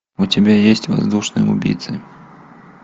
у тебя есть воздушные убийцы